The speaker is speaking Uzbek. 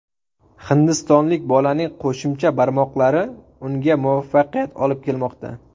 Hindistonlik bolaning qo‘shimcha barmoqlari unga muvaffaqiyat olib kelmoqda.